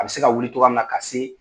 A bɛ se ka wuli togoya min na ka se